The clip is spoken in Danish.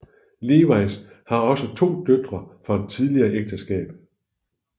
Lewis har også to døtre fra et tidligere ægteskab